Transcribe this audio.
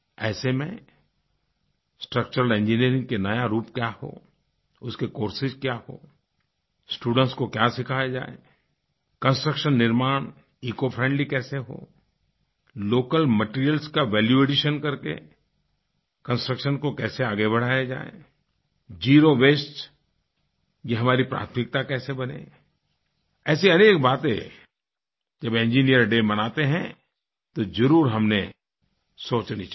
ऐसे में स्ट्रक्चरल engineeringका नया रूप क्या हो उसके कोर्सेस क्या हों स्टूडेंट्स को क्या सिखाया जाएकंस्ट्रक्शन निर्माण इकोफ्रेंडली कैसे हो लोकल मटीरियल्स का वैल्यू एडिशन कर के कंस्ट्रक्शन को कैसे आगे बढ़ाया जाए ज़ेरो वास्ते यह हमारी प्राथमिकता कैसे बने ऐसी अनेक बातें जब इंजिनियर्स डे मनाते हैं तो ज़रूर हमने सोचनी चाहिए